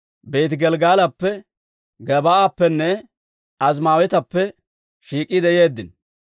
Beeti-Gelggalappe, Gebaa'appenne Azimaaweetappe shiik'iide yeeddino.